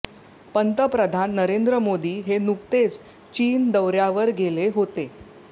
पंतप्रधान नरेंद्र मोदी हे नुकतेच चीन दौऱ्यावर गेले होते